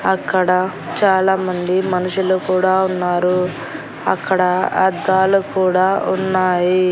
అక్కడ చాలామంది మనుషులు కూడా ఉన్నారు అక్కడ అద్దాలు కూడా ఉన్నాయి.